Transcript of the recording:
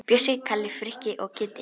Bjössi, Kalli, Frikki og Kiddi!